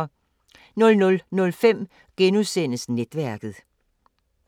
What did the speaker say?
00:05: Netværket *